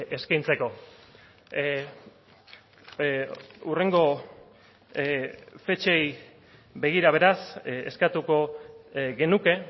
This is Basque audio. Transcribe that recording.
eskaintzeko hurrengo fetxei begira beraz eskatuko genuke